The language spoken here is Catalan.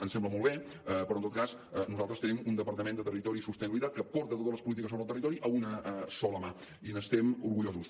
em sembla molt bé però en tot cas nosaltres tenim un departament de territori i sostenibilitat que porta totes les polítiques sobre el territori a una sola mà i n’estem orgullosos